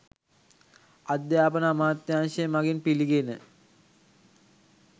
අධ්‍යාපන අමාත්‍යංශය මගින් පිළිගෙන